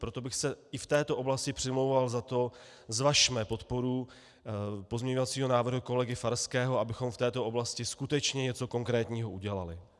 Proto bych se i v této oblasti přimlouval za to, zvažme podporu pozměňovacího návrhu kolegy Farského, abychom v této oblasti skutečně něco konkrétního udělali.